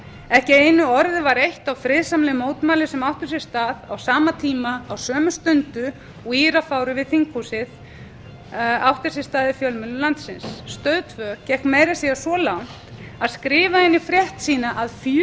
ekki einu orði var eytt á friðsamleg mótmæli sem áttu sér stað á sama tíma á sömu stundu og írafárið við þinghúsið átti sér stað í fjölmiðlum landsins stöð tvö gekk meira að segja svo langt að skrifa það inn í frétt sína að